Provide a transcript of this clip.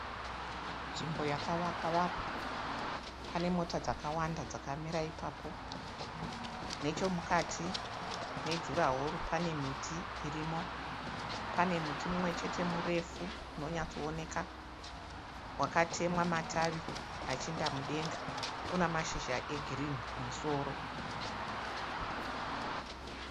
Nzvimbo yakavakwa vakwa. Pane motokari dzakawanda dzakamira ipapo. Nechemukati mejuraworo